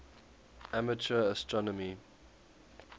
amateur astronomy